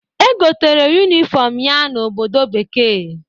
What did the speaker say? E gotere yunifọmụ ya na obodo bekee.